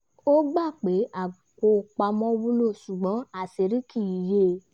ó gbà pé apò pamọ́ wúlò ṣùgbọ́n àṣírí kì í yẹ